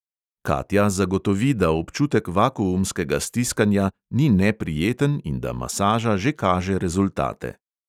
Katja zagotovi, da občutek vakuumskega stiskanja ni neprijeten in da masaža že kaže rezultate.